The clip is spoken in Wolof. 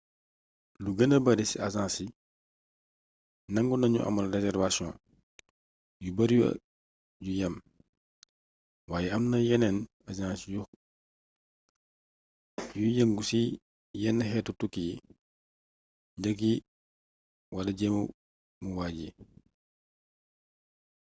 lu gëna bari ci agence yi nangu nañu amal réservation yu bari yu yam waaye amna yeneen agence yuy yëngu ci yenn xeeti tukki yi njëgg yi wala jëmuwaay yi